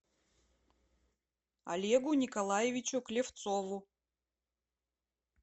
олегу николаевичу клевцову